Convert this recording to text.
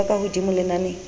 ho ba ka hodimodimo lenaneng